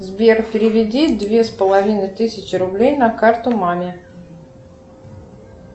сбер переведи две с половиной тысячи рублей на карту маме